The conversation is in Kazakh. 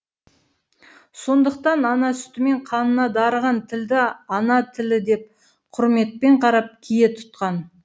сондықтан ана сүтімен қанына дарыған тілді ана тілі деп құрметпен қарап кие тұтқан